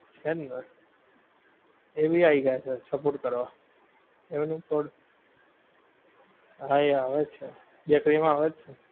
છે જ ને. એ ભી આવી ગયા છે support કરવા. એમનું પણ. હા એ આવે જ છે, બેકરી માં આવે જ છે.